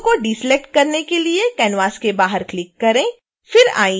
logo को deselect करने के लिए canvas के बाहर क्लिक करें